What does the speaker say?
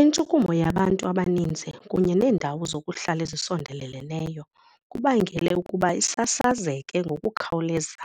Intshukumo yabantu abaninzi kunye neendawo zokuhlala ezisondeleleneyo kubangele ukuba isasazeke ngokukhawuleza